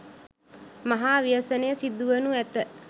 මහා ව්‍යසනය සිදුවනු ඇත.